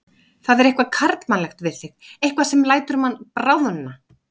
Það er eitthvað karlmannlegt við þig, eitthvað sem lætur mann bráðna.